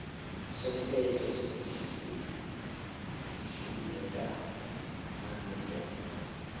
somthetho sihlinzeka malungana